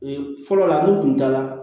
fɔlɔ la n'u kun taara